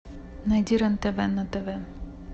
найди рен тв на тв